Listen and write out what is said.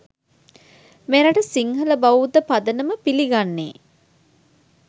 මෙරට සිංහල බෞද්ධ පදනම පිළිගන්නේ